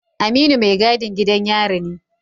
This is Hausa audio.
Aminu mai gadin gidan yari ne